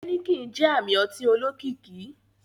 Heineken jẹ ami ọti olokiki.